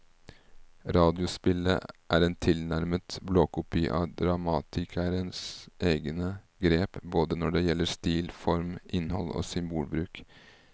Radiospillet er en tilnærmet blåkopi av dramatikerens egne grep både når det gjelder stil, form, innhold og symbolbruk.